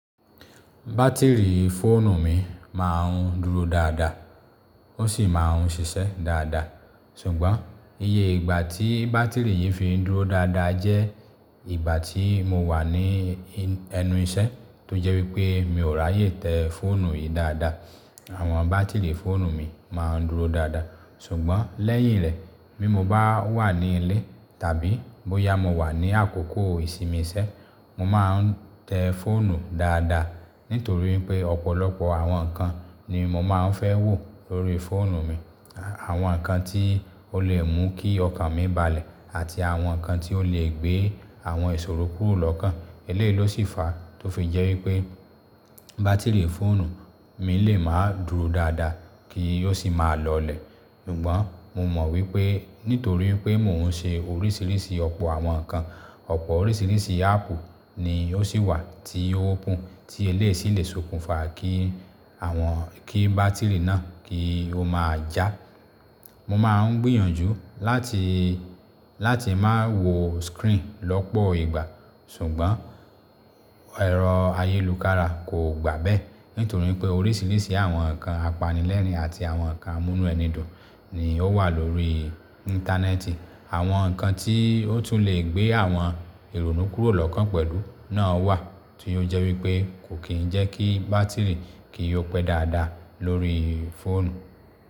Bátìrì fóònù mi máa ń dúró dáadáa, ó sì máa ń ṣiṣẹ́ dáadáa. Sùgbọ́n iye ìgbà tí bátìrì yìí fi ń dúró dáadáa jẹ́ ìgbà tí mo wà ní ẹnu iṣẹ́ tó jẹ́ wípé mi ò ráyè tẹ fóònù yìí dáadáa. Àwọn bátìrì fóònù mi máa ń dúró dáadáa. Sùgbọ́n lẹ́yìn rẹ̀ bí mo bá wà ní ilé tàbí bóyá mo wà ní àkókò ìsinmi iṣẹ́, mo máa ń tẹ́ fóònù dáadáa nítorí pé ọ̀pọ̀lọpọ̀ àwọn nǹkan ni mo máa ń fẹ́ wò lórí fóònù mi. Àwọn nǹkan tí ó lè mú kí ọkàn mi balẹ̀ àti àwọn nǹkan tí ó lè gbé àwọn ìṣòro kúrò lọ́kàn. Eléyìí ló sì fa tó fi jẹ́ wípé bátìrì fóònù mi lè máa dúró dáadáa kí ó sì máa lọlẹ̀. Ṣùgbọ́n mo mọ̀ wípé nítorí pé mò ń ṣe oríṣiríṣi ọ̀pọ̀ àwọn nǹkan, ọ̀pọ̀ oríṣiríṣi áàpù ni ó sì wà tí ó opentí eléyìí sì lè sokùnfa kí àwọn kí bátìrì náà kí ó máa já. Mo máa ń gbìyànjú láti, láti má wò screen lọ́pọ̀ ìgbà. Ṣùgbọ́n ẹ̀rọ ayélukara kò gbà bẹ́ẹ́ nítorí pé oríṣiríṣi àwọn nǹkan apanilẹ́rìn-ín àti àwọn nǹkan amúnúẹni dùn ni ó wà lórí íńtánẹ́ẹ̀tì. Àwọn nǹkan tí ó tún lè gbé àwọn ìrònú kúrò lọ́kàn pẹ̀lú náà wà tí ó jẹ́ wípé kò kì ń jẹ́ kí bátìrì kí ó pẹ́ dáadáa lórí fóònù.